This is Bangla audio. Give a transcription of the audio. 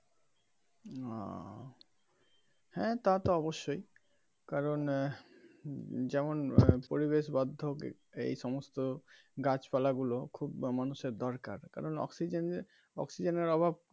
ওহ হ্যা তা তো অবশ্যই কারণ আহ যেমন পরিবেশ বদ্ধ এই সমস্ত গাছ পালা গুলো খুব মানুষ এর দরকার আরও অক্সিজেন এর অক্সিজেন এর অভাব.